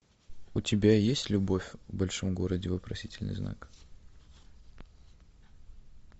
у тебя есть любовь в большом городе вопросительный знак